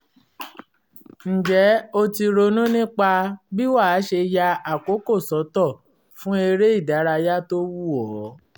ǹjẹ́ o ti ronú nípa bí wàá ṣe ya àkókò sọ́tọ̀ fún eré ìdárayá tó wù ọ́?